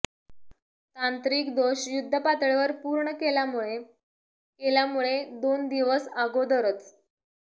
तांत्रिक दोष युद्धपातळीवर पूर्ण केल्यामुळे केल्यामुळे दोन दिवस अगोदरच